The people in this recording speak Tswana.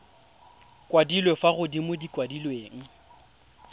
kwadilwe fa godimo di kwadilwe